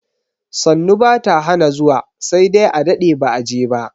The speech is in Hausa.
Sannu bata hana zuwa sai dai a dade ba'a je ba.